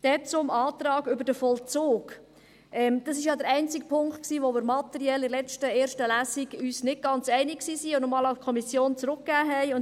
Dann zum Antrag über den Vollzug: Das war ja der einzige Punkt, bei dem wir uns materiell in der ersten Lesung nicht ganz einig waren und diesen noch einmal an die Kommission zurückgegeben hatten.